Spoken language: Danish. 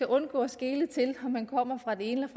undgår at skele til om man kommer fra det ene